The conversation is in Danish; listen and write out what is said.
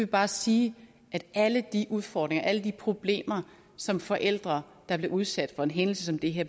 bare sige at alle de udfordringer og alle de problemer som forældre der bliver udsat for en hændelse som det her